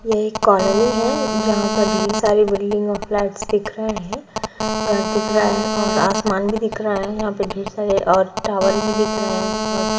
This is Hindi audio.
ये एक कॉलोनी है जहाँ पे ढेर सारे बिल्डिंग और फ्लैट्स दिख रहे है घर दिख रहा है और आसमान भी दिख रहा है यहाँ पे ढेर सारे और टावर भी दिख रहे है